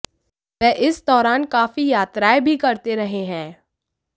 वह इस दौरान काफी यात्राएं भी करते रहे हैं